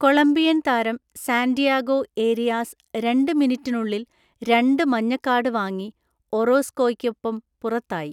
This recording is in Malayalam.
കൊളംബിയൻ താരം സാൻ്റിയാഗോ ഏരിയാസ് രണ്ട് മിനിറ്റിനുള്ളിൽ രണ്ട് മഞ്ഞക്കാർഡ് വാങ്ങി ഒറോസ്‌കോയ്‌ക്കൊപ്പം പുറത്തായി.